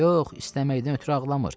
Yox, istəməkdən ötrü ağlamır.